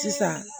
Sisan